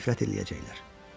Sənə nifrət eləyəcəklər.